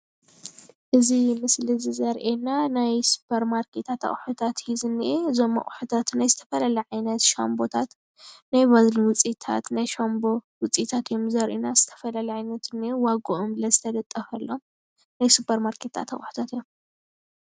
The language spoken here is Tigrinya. እዚ ምስሊ እዚ ዘርእየና ናይ ሱፐርማርኬታት ኣቁሑታት እዪ ዝንኤ እዞም አቁሑታት ናይ ዝተፈላለየ ዓይነት ሻምፖታት ናይ ባዝሊን ውፂኢታት ናይ ሻምፖ ውፂኢታት እዮም ዘርእዩና ዝተፈላለየ ዓይነት እንኤ ዋገኦም ለ ዝተለጠፈሎም ናይ ስፖርማርኬት አቁሕታት እዮም።